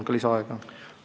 Palun lisaaega!